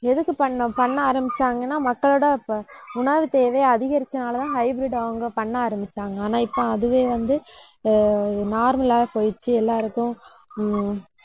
எதுக்கு பண்ணணும் பண்ண ஆரம்பிச்சாங்கன்னா, மக்களோட ப~ உணவுத் தேவையை அதிகரிச்சதுனாலதான் hybrid அவங்க பண்ண ஆரம்பிச்சாங்க. ஆனா, இப்ப அதுவே வந்து, ஆஹ் normal லா போயிருச்சு எல்லாருக்கும் உம்